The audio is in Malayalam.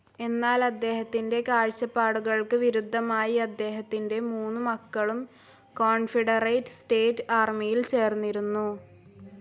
എന്നാൽ അദ്ദേഹത്തിൻ്റെ കാഴ്ച്ചപ്പാടുകൾക്ക് വിരുദ്ധമായി അദ്ദേഹത്തിൻ്റെ മൂന്നു മക്കളും കോൺഫെഡറേറ്റ്‌ സ്റ്റേറ്റ്‌ ആർമിയിൽ ചേർന്നിരുന്നു.